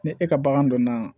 Ni e ka bagan donna